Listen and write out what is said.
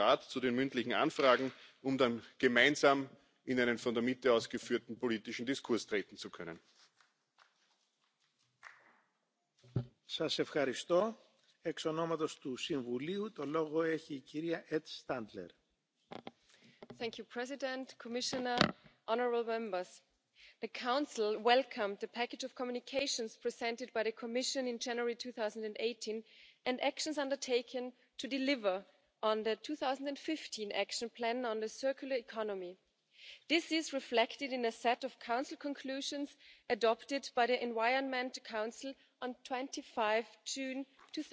distinction between waste and product status to avoid the need for operators to comply with two sets of rules. Efforts to harmonise these criteria should focus firstly on the most important waste streams. Finally, the Council calls urgently on the Commission in particular for concrete actions to be taken to remove technical, financial and market barriers preventing recycling and the uptake of secondary raw materials. Effective measures are needed to avoid, remove, or reduce the presence of substances of concern as much and as soon as possible to ensure non